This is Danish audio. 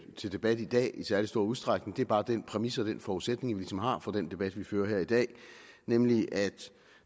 til debat i dag i særlig stor udstrækning det er bare den præmis og den forudsætning vi ligesom har for den debat vi fører her i dag nemlig at